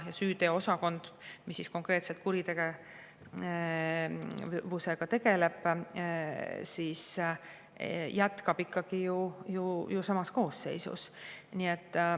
Ja süüteoosakond, mis konkreetselt kuritegevusega tegeleb, jätkab ikkagi ju samas koosseisus.